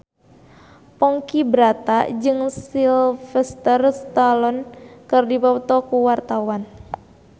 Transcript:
Ponky Brata jeung Sylvester Stallone keur dipoto ku wartawan